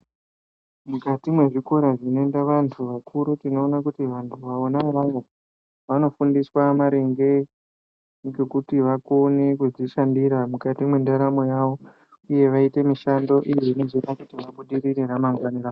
Mukati mezvikora zvinoenda vantu vakuru tinoona kuti vantu vona ivovo vanofundiswa maringe ngekuti vakone kwekushandira Mukati mendaramo yawo veita mishando iyo inozoita vabudirire ramangwana rawo.